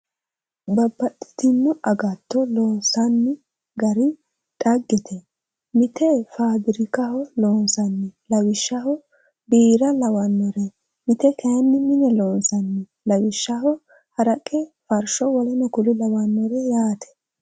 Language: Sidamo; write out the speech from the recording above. Babbaxitino agatto loonsanni gari xaggete! Mite fafirikaho loonsanni. Lawishshaho biira lawannore. Mite kayii mine loonsanni. Lawishshaho haraqe, farsho w.k.l yaate.